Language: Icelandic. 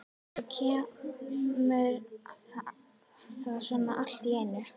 Og svo kemur það svona allt í einu.